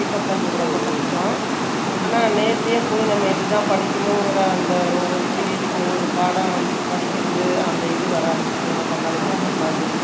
Pickup பண்றது, ரொம்ப கஷ்டம். ஆனா, நேரடியா போய், நம்ம இதுதான் படிக்கணும்ங்கிற, அந்த ஒவ்வொரு period க்கு, ஒவ்வொரு பாடம், படிக்கிறது, அந்த இது வராது பண்ணாலும், வீட்டுல உட்கார்ந்து